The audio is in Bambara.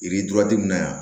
Yiri duraden min na yan